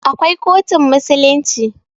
Akwai kotun musulunci.